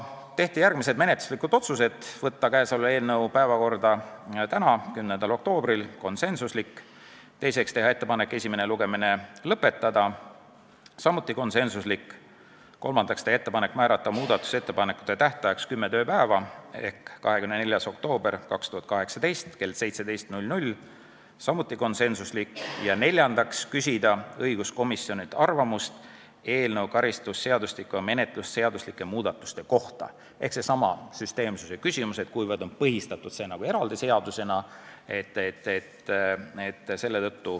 Tehti järgmised menetluslikud otsused: võtta käesolev eelnõu päevakorda täna, 10. oktoobril , teiseks, teha ettepanek esimene lugemine lõpetada , kolmandaks, teha ettepanek määrata muudatusettepanekute esitamise tähtajaks kümme tööpäeva ehk 24. oktoober 2018 kell 17 , neljandaks, küsida õiguskomisjonilt arvamust eelnõu karistusseadustiku ja menetlusseaduslike muudatuste kohta ehk see on seesama süsteemsuse küsimus, kuivõrd on see põhistatud eraldi seadusena.